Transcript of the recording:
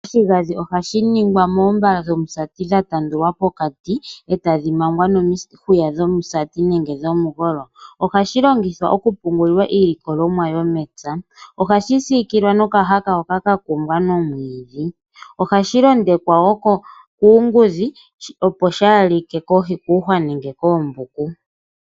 Oshigandhi ohadhi ningwa moombala dhomusati dha tandulwa pokati, e tadhi mangwa nomihuya dhomusati nenge dhomigolo. Ohadhi longithwa okupungulila iilikolomwa yomepya. Ohashi siikilwa nokahaka hoka katungwa nomwiidhi. Ohashi londekwa wo kuungudhi, opo kaashi like kuuhwa nenge koombuku.